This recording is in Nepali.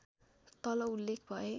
तल उल्लेख भए